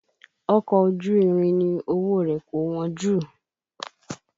Ọkọ̀ ojú irin ni owó rẹ̀ kò wọ́n jù